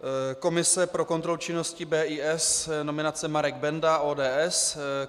Komise pro kontrolu činnosti BIS - nominace Marek Benda, ODS.